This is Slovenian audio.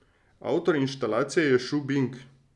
Avtor inštalacije je Šu Bing.